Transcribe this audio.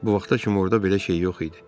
Bu vaxta kimi orda belə şey yox idi.